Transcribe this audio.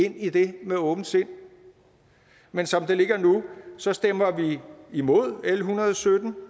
ind i det med åbent sind men som det ligger nu stemmer vi imod l en hundrede og sytten